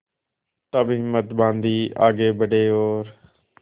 तब हिम्मत बॉँधी आगे बड़े और